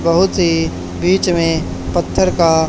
बहुत से बीच में पत्थर का--